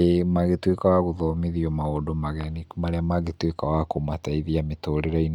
ĩĩ magĩtuĩka wa gũthomithio maũndũ mageni marĩa mangĩtuĩka wa kũmateithia mĩtũrĩre-inĩ